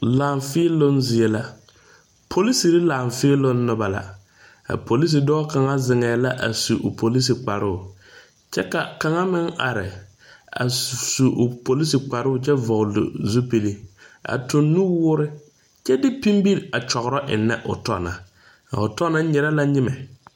Laafēēloŋ zie la poliserre Laafēēloŋ nobɔ la a polise dɔɔ kaŋa zeŋɛɛ la a su o polise kparoo kyɛ ka kaŋa meŋ are a su o polise kparoo kyɛ vɔgloo zupil a tuŋ nuwoore kyɛ de pinbire a kyɔgrɔ ennɛ o tɔ na a o tɔ na nyire la nyimɛ.